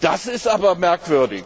das ist aber merkwürdig!